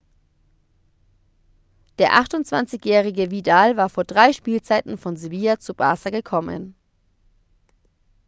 der 28-jährige vidal war vor drei spielzeiten von sevilla zu barça gekommen